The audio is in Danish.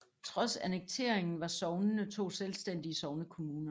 Trods annekteringen var sognene to selvstændige sognekommuner